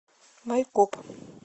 майкоп